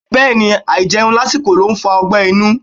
Bẹ́ẹ̀ni, àìjẹun lásìkò ló ń fa ọgbẹ́ inú.